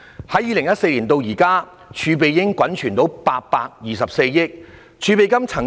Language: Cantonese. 由2014年至今，房屋儲備金已滾存至824億元。